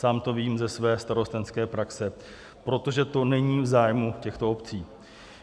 Sám to vím ze své starostenské praxe, protože to není v zájmu těchto obcí.